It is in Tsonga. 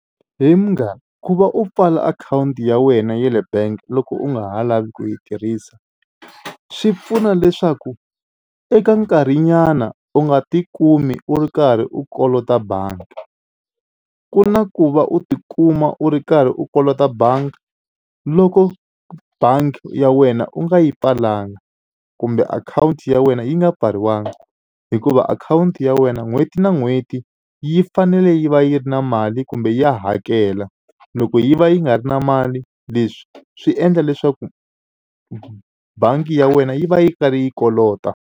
He munghana ku va u pfala akhawunti ya wena ya le bank loko u nga ha lavi ku yi tirhisa swi pfuna leswaku eka nkarhinyana u nga tikumi u ri karhi u kolota bangi ku na ku va u tikuma u ri karhi u kolota bangi loko bangi ya wena u nga yi pfalanga kumbe akhawunti ya wena yi nga pfariwanga hikuva akhawunti ya wena n'hweti na n'hweti yi fanele yi va yi ri na mali kumbe yi ya hakela loko yi va yi nga ri na mali leswi swi endla leswaku bangi ya wena yi va yi karhi yi kolota.